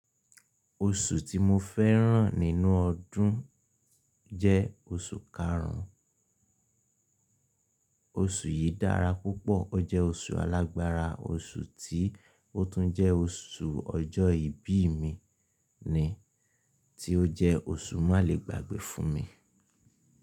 Oṣù tí mo fẹ́ràn nínú ọdún jẹ́ oṣù karùn ún, oṣù yìí dára púpọ̀, ó jẹ́ oṣù alágbára, oṣù tí ó tún jẹ́ oṣù ọjọ́ ìbí mi ni, tí ó jẹ́ oṣù má le gbàgbé fún mi.